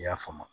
I y'a faamu